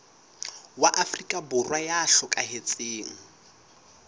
wa afrika borwa ya hlokahetseng